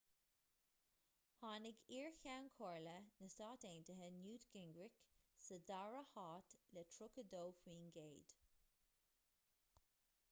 tháinig iar-cheann comhairle na stát aontaithe newt gingrich sa dara háit le 32 faoin gcéad